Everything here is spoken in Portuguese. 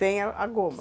Sem a goma?